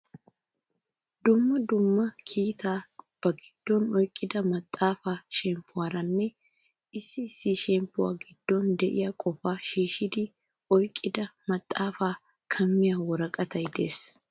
Dumma dumma kiitaa ba giddon oyqida maxaafaa shemppuwaaranne issi issi shemppuwaa giddon de'iyaa qofa shiishidi oyqqida maxaafaa kamiyaa worqqatay de'ees.